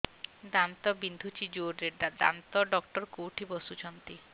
ଦାନ୍ତ ବିନ୍ଧୁଛି ଜୋରରେ ଦାନ୍ତ ଡକ୍ଟର କୋଉଠି ବସୁଛନ୍ତି